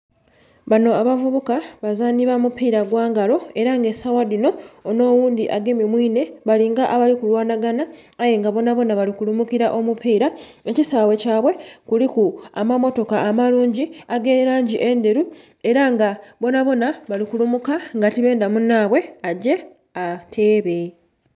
Banho abavubuka abazanhi ba mupira gwa ngalo era nga esawa dhinho onho oghundhi agemye mwinhe balinga abali ku lwana gana aye nga bona bona bali kulumukila omupila. Ekisaghe kyaibwe kuliku amamotoka amalungi age langi endheru era nga bonabona bali kulumuka nga tibendha munhaibwe agye ateebe.